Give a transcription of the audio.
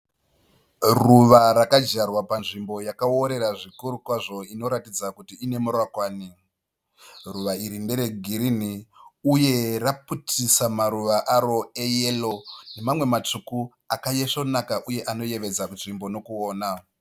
Ruva rakadyarwa panzvimbo yakaorera kwazvo inoratidza kuti ine murakwani. Ruva iri ndere girinhi uye raputitsa maruva aro eyero uye matsvuka ayo akaisvonaka uye anoyevedzesa nzvimbo nekuona.